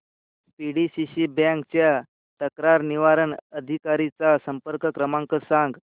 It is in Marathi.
पीडीसीसी बँक च्या तक्रार निवारण अधिकारी चा संपर्क क्रमांक सांग